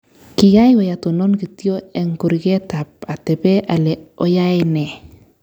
Kiawei atonon kityo eng kurket ak atebee ale oyae ne.